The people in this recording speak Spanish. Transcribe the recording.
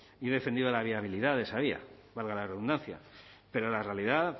y he defendido la viabilidad de esa vía valga la redundancia pero la realidad